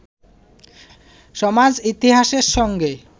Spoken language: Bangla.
সমাজ-ইতিহাসের সঙ্গে